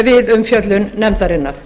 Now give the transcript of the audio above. við umfjöllun nefndarinnar